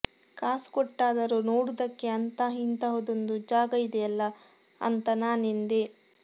ಕಾಸು ಕೊಟ್ಟಾದರೂ ನೋಡುವುದಕ್ಕೆ ಅಂತ ಇಂತಹುದೊಂದು ಜಾಗ ಇದೆಯಲ್ಲಾ ಅಂತ ನಾನೆಂದೆ